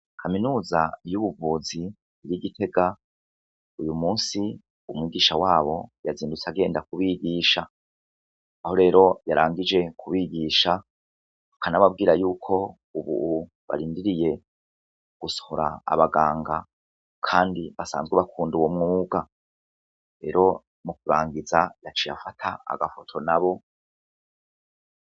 Kaminuza y'ubuvuzi yi Gitega ,uyu munsi umugisha wabo yazindutse agenda kubigisha aho rero yarangije kubigisha bakana babwira yuko ubu barindiriye gusohora abaganga kandi basanzwe bakunda ubo mwuga rero mu kubangiza yaciye afata agafoto na bo.